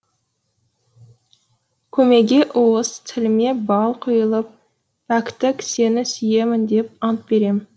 көмейге уыз тіліме бал құйылып пәктік сені сүйемін деп ант берем